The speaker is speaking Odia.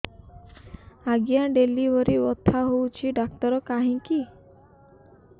ଆଜ୍ଞା ଡେଲିଭରି ବଥା ହଉଚି ଡାକ୍ତର କାହିଁ କି